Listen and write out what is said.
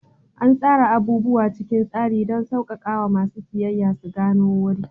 An tsara abubuwa cikin tsari don sauƙaƙawa masu siyayya su gano wuri.